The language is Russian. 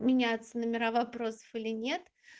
меняться номера вопросов или нет